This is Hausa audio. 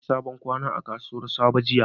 Na sayi sabon kwano a kasuwar sabo jiya.